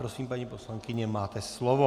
Prosím, paní poslankyně, máte slovo.